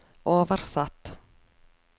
oversatt